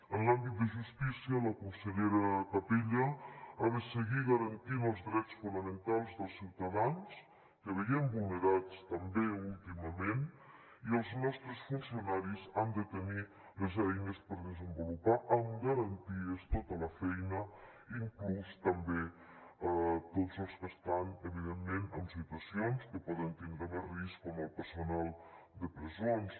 en l’àmbit de justícia la consellera capella ha de seguir garantint els drets fonamentals dels ciutadans que veiem vulnerats també últimament i els nostres funcionaris han de tenir les eines per desenvolupar amb garanties tota la feina inclús també tots els que estan evidentment en situacions que poden tindre més risc com el personal de presons